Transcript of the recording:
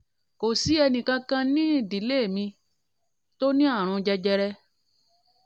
kò sí ẹnìkan kan nínú ìdílé mi tó ní tó ní àrùn jẹjẹrẹ